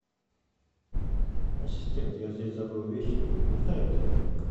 ассистент я здесь забыл вещи узнай где они